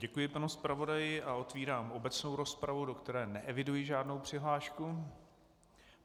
Děkuji panu zpravodaji a otevírám obecnou rozpravu, do které neeviduji žádnou přihlášku.